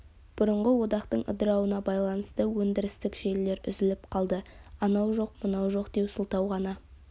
бұрынғы одақтың ыдырауына байланысты өндірістік желілер үзіліп қалды анау жоқ мынау жоқ деу сылтау ғана